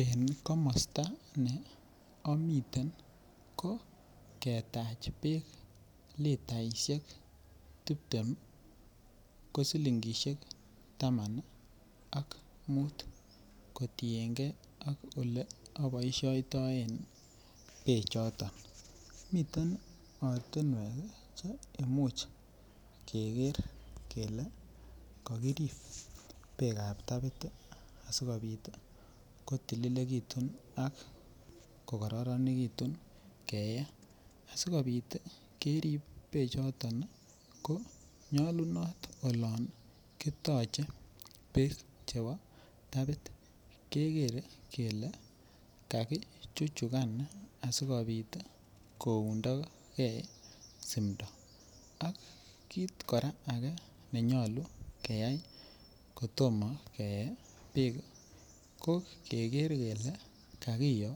En komosto ne omiten nii ko ketach beek litaishek tiptem ko silingishek taman nii ak mut kotiyengee ak ole oboishoitoen beek choton. Miten ortinwek kii che imuch Keker kele kokirib beekab tapit sikopit kotililekitun ak ko kororonekitun keyee asikopit tii kerib beek choton ko nyolunot olon kitoche beek chebo tapit kekere kele kakichuchukan asikopit koundogee simdo akkit Koraa nenyolu keyai kotomo keyee beek ko Keker Keker kele kakiyo